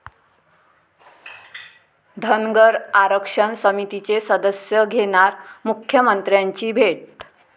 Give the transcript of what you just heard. धनगर आरक्षण समितीचे सदस्य घेणार मुख्यमंत्र्यांची भेट